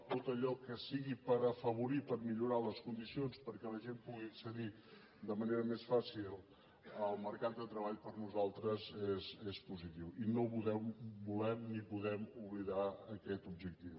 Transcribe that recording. tot allò que sigui per afavorir per millorar les condicions perquè la gent pugui accedir de manera més fàcil al mercat de treball per nosaltres és positiu i no volem ni podem oblidar aquest objectiu